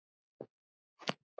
Boxið er alveg farið.